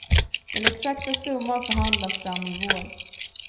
Den exakta summan förhandlas fram i vår.